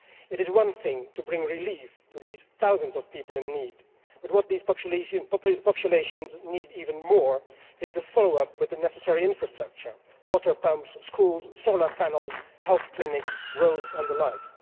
It is one thing to bring relief to these thousands of people in need but what these populations need even more is the follow up with the necessary infrastructure water pumps, schools, solar panels, health clinics, roads and the like.